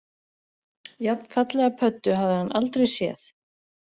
Jafnfallega pöddu hafði hann aldrei séð